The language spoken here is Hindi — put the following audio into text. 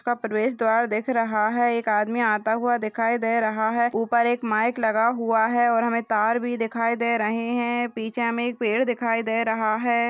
प्रवेश द्वार दिख रहा है एक आदमी आता हुआ दिखाई दे रहा है ऊपर एक माइक लगा हुआ है और और हमे तार भी दिखाई दे रही हैं पीछे में एक पेड़ दिखाई दे रहा है।